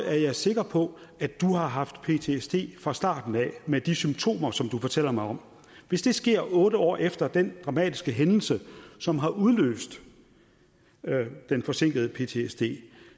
er jeg sikker på at du har haft ptsd fra starten af med de symptomer som du fortæller mig om hvis det sker otte år efter den dramatiske hændelse som har udløst den forsinkede ptsd